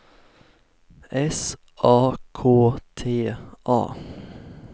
S A K T A